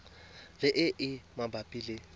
le e e mabapi le